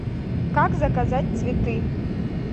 как заказать цветы